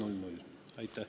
Aitäh!